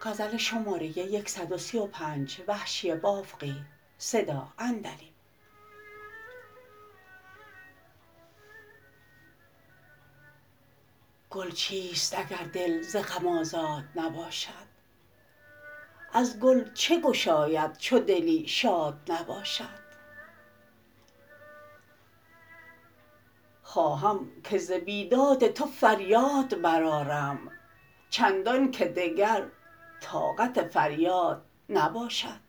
گل چیست اگر دل ز غم آزاد نباشد از گل چه گشاید چو دلی شاد نباشد خواهم که ز بیداد تو فریاد برآرم چندان که دگر طاقت فریاد نباشد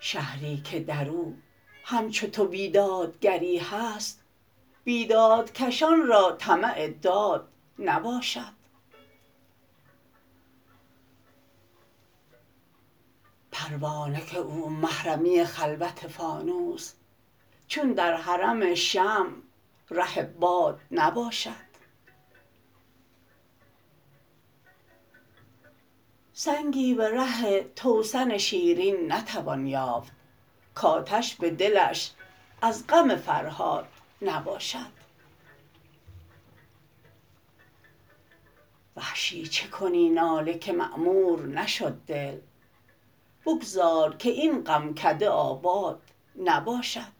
شهری که در او همچو تو بیدادگری هست بیدادکشان را طمع داد نباشد پروانه که و محرمی خلوت فانوس چون در حرم شمع ره باد نباشد سنگی به ره توسن شیرین نتوان یافت کاتش به دلش از غم فرهاد نباشد وحشی چه کنی ناله که معمور نشد دل بگذار که این غمکده آباد نباشد